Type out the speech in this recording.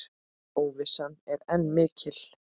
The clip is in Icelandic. Óvissan er enn mikil.